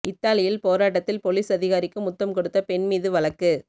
இத்தாலியில் போராட்டத்தில் பொலிஸ் அதிகாரிக்கு முத்தம் கொடுத்த பெண் மீது வழக்கு